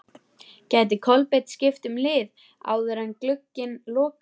Gæti Kolbeinn skipt um lið áður en glugginn lokar?